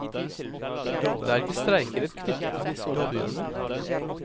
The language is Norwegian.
Det er ikke streikerett knyttet til disse oppgjørene.